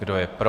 Kdo je pro?